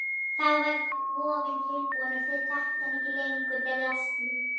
Þá verður kofinn tilbúinn og þeir þekkja ekki lengur draslið.